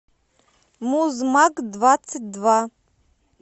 музмаг двадцать два